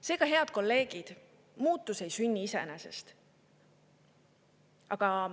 Seega, head kolleegid, muutus ei sünni iseenesest.